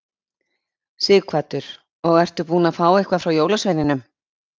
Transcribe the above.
Sighvatur: Og ertu búinn að fá eitthvað frá jólasveininum?